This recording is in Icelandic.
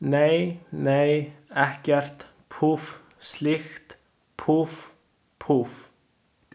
Nei, nei, ekkert, púff, slíkt, púff, púff.